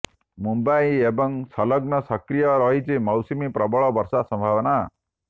ମୁମ୍ବାଇ ଏବଂ ସଂଲଗ୍ନ ସକ୍ରିୟ ରହିଛି ମୌସୁମୀ ପ୍ରବଳ ବର୍ଷା ସମ୍ଭାବନା